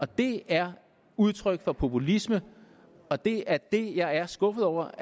det er udtryk for populisme og det er det jeg er skuffet over